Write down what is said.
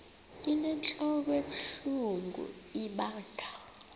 inentlok ebuhlungu ibanga